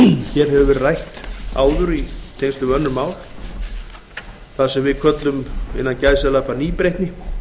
hér hefur verið rætt áður í tengslum við önnur mál það sem við köllum innan gæsalappa nýbreytni